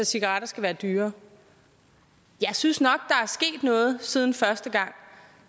cigaretter skal være dyrere jeg synes nok at noget siden første gang